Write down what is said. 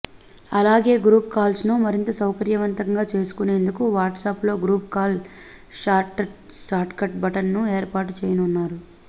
అలాగే గ్రూప్ కాల్స్ను మరింత సౌకర్యవంతంగా చేసుకునేందుకు వాట్సప్లో గ్రూప్ కాల్ షార్ట్కట్ బటన్ను ఏర్పాటు చేయనున్నారు